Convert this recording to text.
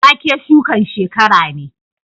Wake shukan shekara ne